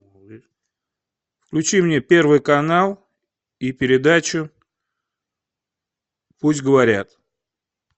включи мне первый канал и передачу пусть говорят